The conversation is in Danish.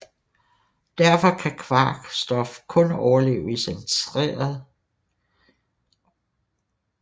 Derfor kan kvark stof kun overleve i centeret af neutronstjernen efter supernovaen